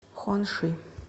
хуанши